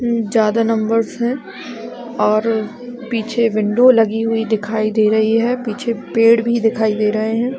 हूँ ज्यादा नंबर है और पीछे विंडो लगी हुई दिखाई दे है पीछे पेड़ भी दिखाई दे रहे है।